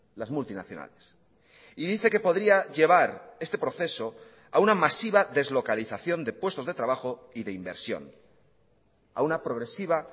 las multinacionales y dice que podría llevar este proceso a una masiva deslocalización de puestos de trabajo y de inversión a una progresiva